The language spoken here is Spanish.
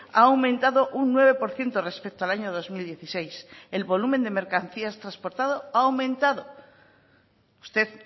ha aumentado un nueve por ciento respecto al año dos mil dieciséis el volumen de mercancías transportado ha aumentado usted